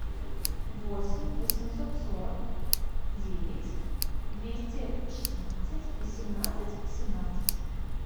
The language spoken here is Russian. восемь восемьсот сорок девять двести шестнадцать восемнадцать восемнадцать